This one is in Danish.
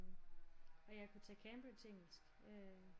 Og jeg kunne tage Cambridge engelsk øh